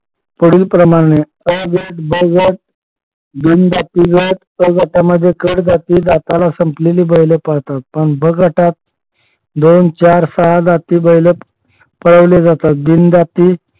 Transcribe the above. पुढीलप्रमाणे अ गट ब गट बिन दाती गट क गटामध्ये कळ जाती जाताना संपलेली बैलं पळतात पणब गटात दोन चार सहा जाती बैलं पळवले जातात बिन दाती